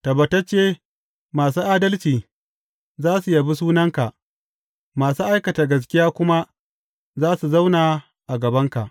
Tabbatacce masu adalci za su yabi sunanka masu aikata gaskiya kuma za su zauna a gabanka.